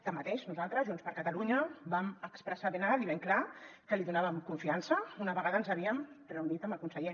tanmateix nosaltres junts per catalunya vam expressar ben alt i ben clar que li donàvem confiança una vegada ens havíem reunit amb el conseller